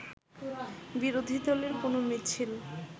বিরোধী দলের কোনো মিছিল